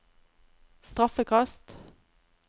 straffekast